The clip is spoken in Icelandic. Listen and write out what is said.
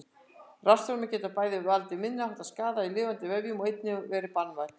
Rafstraumur getur bæði valdið minniháttar skaða í lifandi vefjum og einnig verið banvænn.